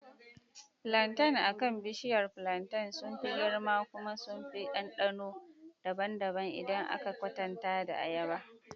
Plantains akan bishiyar plantain sun fi girma kuma suna da ɗanɗano daban-daban idan aka kwatanta da ayaba.